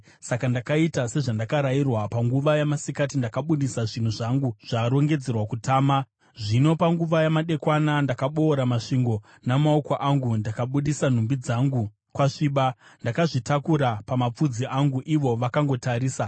Saka ndakaita sezvandakarayirwa. Panguva yamasikati ndakabudisa zvinhu zvangu zvarongedzerwa kutama. Zvino panguva yamadekwana ndakaboora masvingo namaoko angu. Ndakabudisa nhumbi dzangu kwasviba, ndakazvitakura pamapfudzi angu ivo vakangotarisa.